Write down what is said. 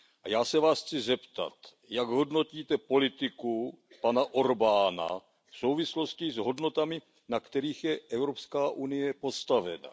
Já se Vás chci zeptat, jak hodnotíte politiku pana Orbána v souvislosti s hodnotami, na kterých je Evropská unie postavena.